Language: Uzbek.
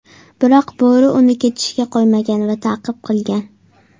Biroq bo‘ri uni ketishga qo‘ymagan va ta’qib qilgan.